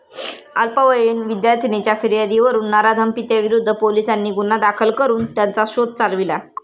अल्पवयीन विद्यार्थिनीच्या फियार्दीवरून नराधम पित्याविरुद्ध पोलिसांनी गुन्हा दाखल करून त्याचा शोध चालविला.